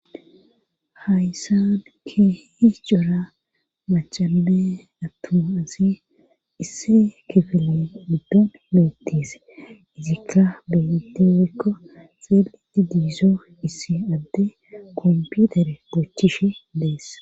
hayssaan kehi cora machanme attuma asi isse kifile giddon beettise izikka beetes wekko xeeliti di'iizo issi adde komputere bochishe deess